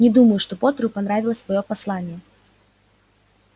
не думаю что поттеру понравилось твоё послание